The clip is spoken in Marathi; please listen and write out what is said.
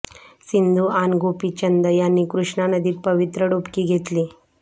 सिंधू आण गोपीचंद यांनी कृष्णा नदीत पवित्र डुबकी घेतली